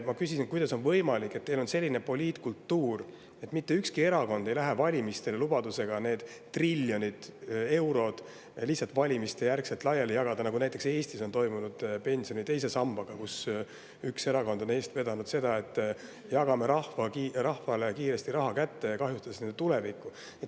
Ma küsisin, kuidas on võimalik, et teil on selline poliitkultuur, et mitte ükski erakond ei lähe valimistele lubadusega need triljonid eurod lihtsalt valimiste järel laiali jagada, nagu näiteks Eestis on toimunud pensioni teise sambaga, kui üks erakond on eest vedanud seda, et jagame rahvale kiiresti raha kätte, kahjustades nende inimeste tulevikku.